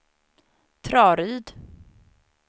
Traryd